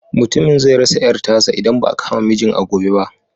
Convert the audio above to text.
Mutumin zai rasa ƴar tasa idan ba a kama mijin a gobe ba.